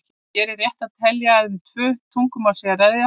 Hér er rétt að telja að um tvö tungumál sé að ræða.